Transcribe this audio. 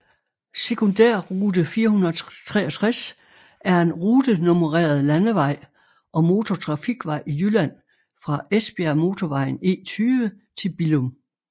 Sekundærrute 463 er en rutenummereret landevej og motortrafikvej i Jylland fra Esbjergmotorvejen E20 til Billum